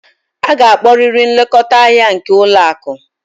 Ị ga-akpọrịrị nlekọta ndị ahịa nke ụlọ akụ!